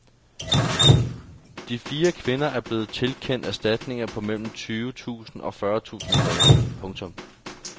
De fire kvinder er blevet tilkendt erstatninger på mellem tyve tusind og fyrre tusind kroner. punktum